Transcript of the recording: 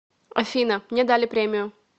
афина мне дали премию